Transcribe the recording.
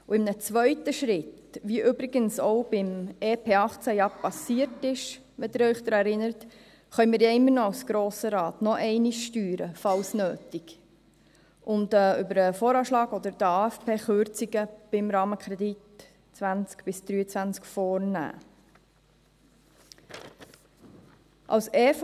In einem zweiten Schritt, wie im EP 2018 geschehen, wenn Sie sich daran erinnern, können wir als Grosser Rat noch einmal steuern, falls nötig, und über den Voranschlag (VA) oder den Aufgaben-/Finanzplan (AFP) können wir Kürzungen beim Rahmenkredit 2020–2023 vornehmen.